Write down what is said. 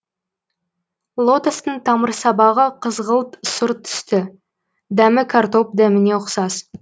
лотостың тамырсабағы қызғылт сұр түсті дәмі картоп дәміне ұқсас